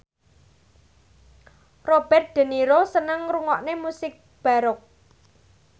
Robert de Niro seneng ngrungokne musik baroque